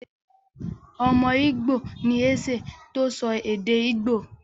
Ọmọ Ìgbò ni Eze tó sọ èdè Ìgbò.